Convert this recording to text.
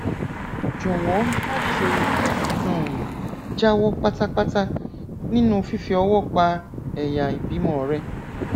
jọwọ máṣe um jáwọ pátápátá nínú fífi ọwọ pa ẹyà ìbímọ rẹ